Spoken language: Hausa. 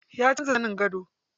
Ya canza zanin gado.